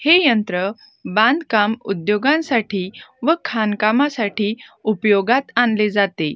हे यंत्र बांधकाम उद्योगांसाठी व खाणकामासाठी उपयोगात आणले जाते.